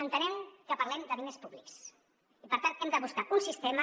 entenem que parlem de diners públics i per tant hem de buscar un sistema